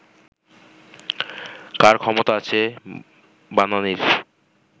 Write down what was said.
কার ক্ষমতা আছে বানানির